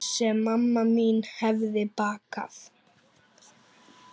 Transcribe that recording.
Sem mamma mín hefði bakað.